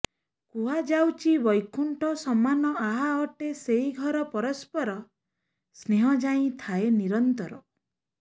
କୁହାଯାଉଛି ବୈକୁଣ୍ଠ ସମାନ ଆହା ଅଟେ ସେହି ଘର ପରସ୍ପର ସ୍ନେହ ଯହିଁ ଥାଏ ନିରନ୍ତର